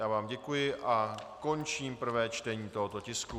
Já vám děkuji a končím prvé čtení tohoto tisku.